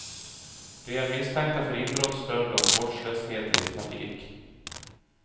De är misstänkta för inbrott, stöld och vårdslöshet i trafik.